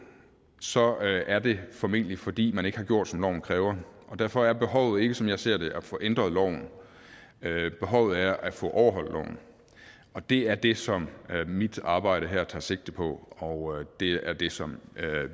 så er det formentlig fordi man ikke har gjort som loven kræver og derfor er behovet ikke som jeg ser det at få ændret loven behovet er at få overholdt loven og det er det som mit arbejde her tager sigte på og det er det som